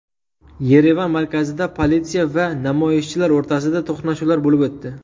Yerevan markazida politsiya va namoyishchilar o‘rtasida to‘qnashuvlar bo‘lib o‘tdi.